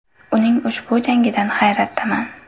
Uning ushbu jangidan hayratdaman.